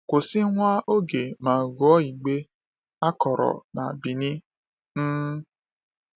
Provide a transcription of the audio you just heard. Kwụsị nwa oge ma gụọ igbe “A Kọrọ na Benin.” um